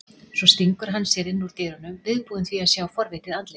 Svo stingur hann sér inn úr dyrunum, viðbúinn því að sjá forvitið andlit